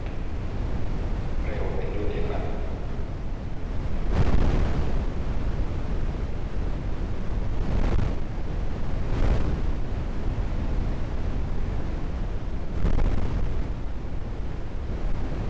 Roɓe ɓeɗo defa.